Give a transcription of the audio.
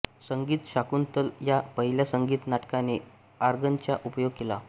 संगीत शाकुंतल या पहिल्या संगीत नाटकाने आँर्गनचा उपयोग केला